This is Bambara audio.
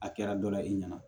A kɛra dɔ la i ɲɛna